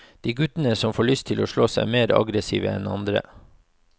De guttene som får lyst til å slåss, er mer aggressive enn andre.